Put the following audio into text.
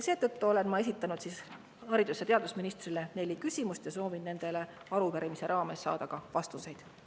Seetõttu olen ma esitanud haridus‑ ja teadusministrile neli küsimust ja soovin nendele ka arupärimise käigus vastuseid saada.